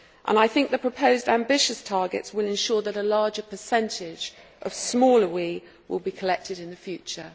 I think that the proposed ambitious targets will ensure that a larger percentage of smaller WEEE will be collected in the future.